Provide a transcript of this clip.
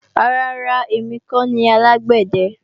Rárá ra, èmi kọ́ ni alágbẹ̀dẹ